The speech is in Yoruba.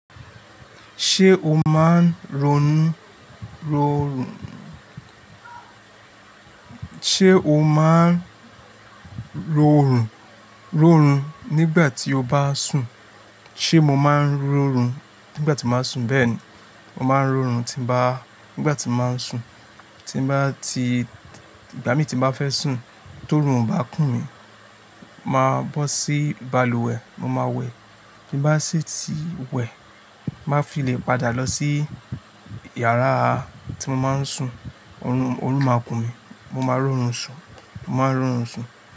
Ṣé o máa ń ronú, ró, ṣé o máa ń rorùn, rórun nígbà tí o bá sùn? Sé mo máa ń rorùn nígbà tí mo bá sùn? Bẹ́ẹ̀ ni, mo máa ń rorùn tí bá, nígbà tí mo máa ń sùn. Tí n bá ti, ìgbà mí tín bá fẹ́ sùn, tó orun ò bá kùn mí, màá bọ́ sí balùwẹ̀, mo máa wẹ̀. Bí n bá sì ti wẹ̀, tí nbá fi le padà lọ sí yàrá tí mo máa ń sùn, orun, orun máa kùn mí, mo máa rórun sùn, mo máa n rórun sùn.